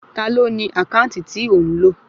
Ta ló ní àkáǹtì tí o ń lò?